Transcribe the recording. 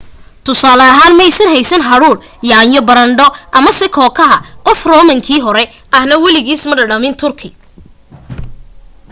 tusaale ahaan maysan haysanin hadhuudh yaanyo baradho amase kookaha qof romankii hore ahna weligiis ma dhadhamin turkey